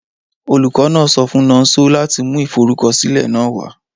Olukọ náà so fun Nonso lati mu iforukọsilẹ náà wa